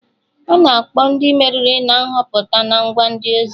Ana akpọ Ndị meriri na Nhọpụta na ngwa ndị ozi